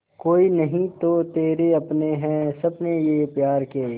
कोई नहीं तो तेरे अपने हैं सपने ये प्यार के